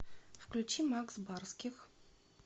включи макс барских